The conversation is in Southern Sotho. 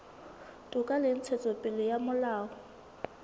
toka le ntshetsopele ya molao